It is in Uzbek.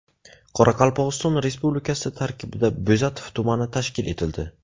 Qoraqalpog‘iston Respublikasi tarkibida Bo‘zatov tumani tashkil etildi.